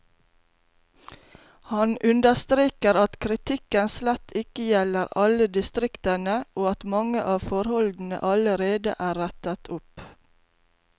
Han understreker at kritikken slett ikke gjelder alle distriktene, og at mange av forholdene allerede er rettet opp.